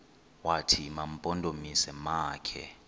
wathi mampondomise makhe